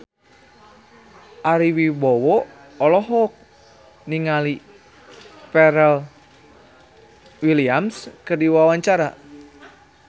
Ari Wibowo olohok ningali Pharrell Williams keur diwawancara